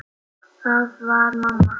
Það var mamma.